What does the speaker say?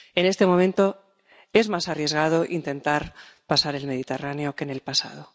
En este momento, es más arriesgado intentar pasar el Mediterráneo que en el pasado.